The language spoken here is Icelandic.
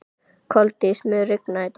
Koldís, mun rigna í dag?